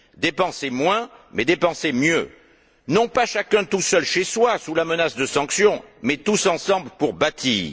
Dépenser moins mais dépenser mieux, non pas chacun tout seul chez soi, sous la menace de sanctions, mais tous ensemble pour bâtir.